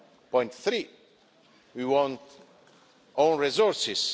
1.3, we want own resources.